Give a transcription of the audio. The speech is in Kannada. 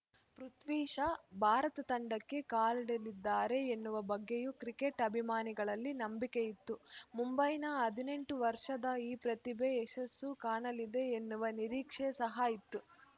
ಪೃಥ್ವಿ ಶಾ ಭಾರತ ತಂಡಕ್ಕೆ ಕಾಲಿಡಲಿದ್ದಾರೆ ಎನ್ನುವ ಬಗ್ಗೆಯೂ ಕ್ರಿಕೆಟ್‌ ಅಭಿಮಾನಿಗಳಲ್ಲಿ ನಂಬಿಕೆಯಿತ್ತು ಮುಂಬೈನ ಹದಿನೆಂಟು ವರ್ಷದ ಈ ಪ್ರತಿಭೆ ಯಶಸ್ಸು ಕಾಣಲಿದೆ ಎನ್ನುವ ನಿರೀಕ್ಷೆ ಸಹ ಇತ್ತು